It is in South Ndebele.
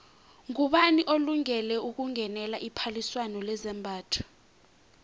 ngubani olungele ukungenela iphaliswano lezambatho